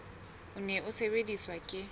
o ne o sebediswa ke